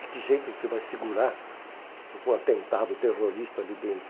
De que jeito você vai segurar um atentado terrorista ali dentro?